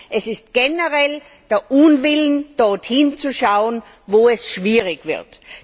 Es ist generell der Unwillen, dort hinzuschauen, wo es schwierig wird.